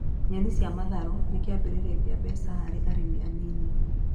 Nyeni cia matharũ nĩ kĩambĩrĩria kĩa mbeca harĩ arĩmi anini